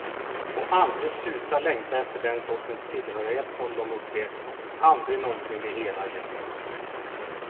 Och aldrig sluta längta efter den sortens tillhörighet som de upplevt, och aldrig någonsin bli hela igen.